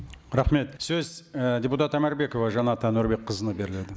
рахмет сөз і депутат омарбекова жанат әнуарбекқызына беріледі